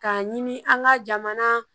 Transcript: K'a ɲini an ka jamana